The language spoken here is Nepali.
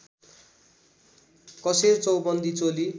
कसेर चौबन्दी चोली